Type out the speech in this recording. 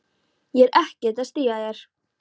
Ég er ekkert að stríða þér.